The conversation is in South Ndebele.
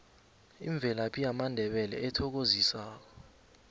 imvelaphi yamandebele ethokozisako